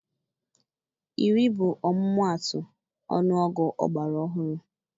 Iri bụ ọmụmaatụ ọnụọgụ ọgbara ọhụrụ.